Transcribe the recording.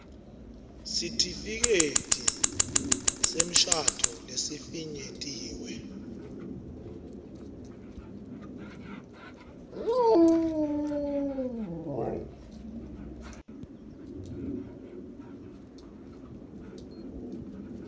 sitifiketi semshado lesifinyetiwe